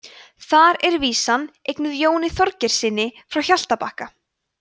þar er vísan eignuð jóni þorgeirssyni frá hjaltabakka